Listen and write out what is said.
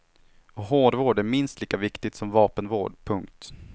Och hårvård är minst lika viktigt som vapenvård. punkt